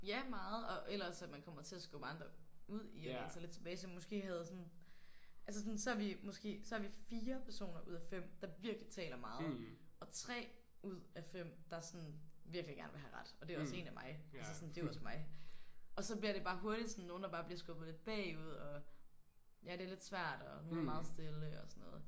Ja meget og ellers at man kommer til at skubbe andre ud i at læne sig lidt tilbage som måske havde sådan. Altså sådan så er vi måske så er vi 4 personer ud af 5 der virkelig taler meget og 3 ud af 5 der sådan virkelig gerne vil have ret og det er også en af mig altså sådan det er jo også mig. Og så bliver det bare hurtigt sådan nogen der bare bliver skubbet lidt bagud og ja det er lidt svært og hun er meget stille og sådan noget